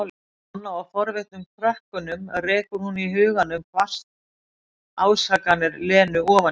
Nonna og forvitnum krökkunum, rekur hún í huganum hvasst ásakanir Lenu ofan í hana.